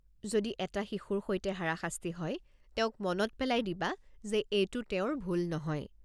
যদি এটা শিশুৰ সৈতে হাৰাশাস্তি হয়, তেওঁক মনত পেলাই দিবা যে এইটো তেওঁৰ ভুল নহয়।